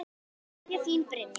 Kveðja, þín Brynja.